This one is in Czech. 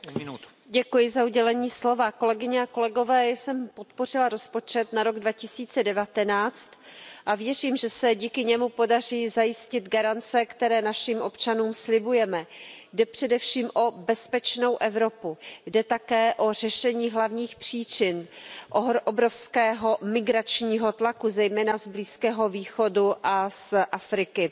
Pane předsedající, kolegyně a kolegové, já jsem podpořila rozpočet na rok 2019 a věřím, že se díky němu podaří zajistit garance, které našim občanům slibujeme. Jde především o bezpečnou Evropu, jde také o řešení hlavních příčin obrovského migračního tlaku, zejména z Blízkého východu a z Afriky.